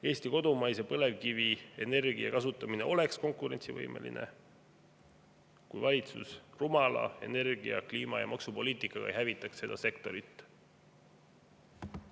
Eesti kodumaise põlevkivi energia kasutamine oleks konkurentsivõimeline, kui valitsus rumala energia-, kliima- ja maksupoliitikaga ei hävitaks seda sektorit.